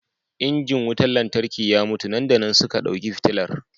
injin nika wutar lantarki ya mutu nan da nan suka dauki fitilar